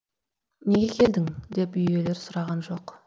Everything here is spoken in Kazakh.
неге келдің деп үй иелері сұраған жоқ